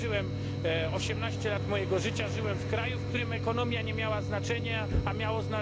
Żyłem 18 lat mojego życia w kraju, w którym ekonomia nie miała znaczenia, a